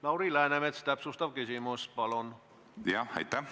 Lauri Läänemets, täpsustav küsimus, palun!